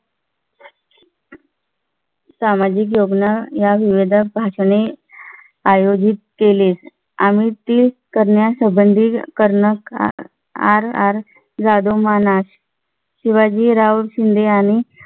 सामाजिक योजना या विविध भाषणे आयोजित केली. आम्ही ती करण्यासंबंधी कर्नल RR यादव मनज शिवाजीराव शिंदे यांनी